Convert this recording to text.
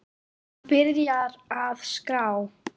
Hann byrjar að skrá.